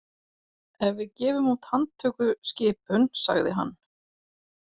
Ef við gefum út handtökuskipun, sagði hann.